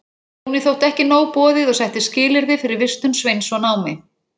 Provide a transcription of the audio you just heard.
Jóni þótti ekki nóg boðið og setti skilyrði fyrir vistun Sveins og námi.